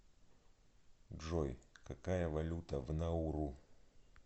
джой какая валюта в науру